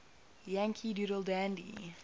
yankee doodle dandy